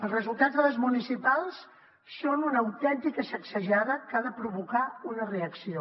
els resultats de les municipals són una autèntica sacsejada que ha de provocar una reacció